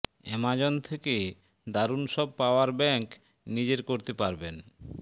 Amazon থেকে দারুন সব পাওয়ার ব্যাঙ্ক নিজের করতে পারবেন